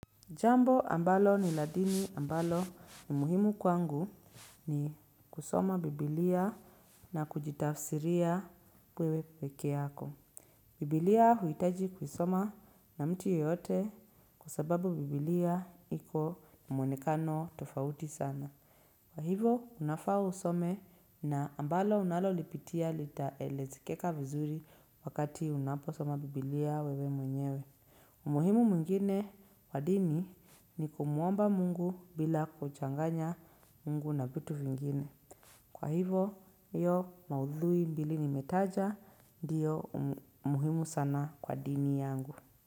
Jambo ambalo ni lad ini ambalo ni muhimu kwangu ni kusoma Biblia na kujitafsiria wewe peke yako. Biblia huitaji kusoma na mtu yoyote kwa sababu Biblia iko mwonekano tofauti sana. Kwa hivo, unafaa usome na ambalo unalolipitia litaelezekeka vizuri wakati unaposoma Biblia wewe mwenyewe. Umuhimu mwingine wa dini ni kumuomba Mungu bila kuchanganya Mungu na vitu vingine. Kwa hivo, iyo maudhui mbili nimetaja ndiyo muhimu sana kwa dini yangu.